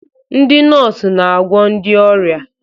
Ndị nọọsụ na-agwọ ndị ọrịa